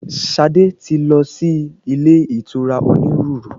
Ṣadé ti lọ sí ilé ìtura onírúurú.